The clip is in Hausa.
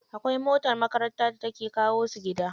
Akwai motar makaranta da take kawo su gida.